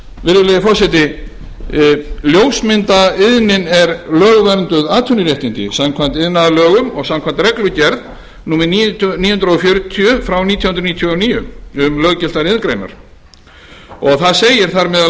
virðulegi forseti ljósmyndaiðnin er lögvernduð atvinnuréttindi samkvæmt iðnaðarlögum og samkvæmt reglugerð númer níu hundruð fjörutíu nítján hundruð níutíu og níu um löggiltar iðngreinar og þar segir þar meðal